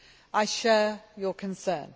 I share your concern.